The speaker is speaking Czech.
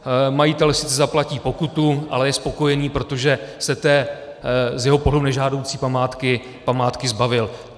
Majitel sice zaplatí pokutu, ale je spokojený, protože se té z jeho pohledu nežádoucí památky zbavil.